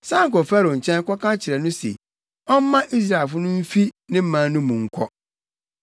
“San kɔ Farao nkyɛn kɔka kyerɛ no sɛ ɔmma Israelfo no mfi ne man no mu nkɔ.”